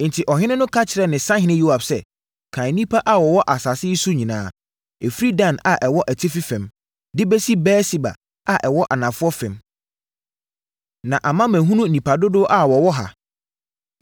Enti, ɔhene no ka kyerɛɛ ne sahene Yoab sɛ, “Kan nnipa a wɔwɔ asase yi so nyinaa, ɛfiri Dan a ɛwɔ atifi fam, de bɛsi Beer-Seba a ɛwɔ anafoɔ fam, na ama mahunu nnipa dodoɔ a wɔwɔ ha.”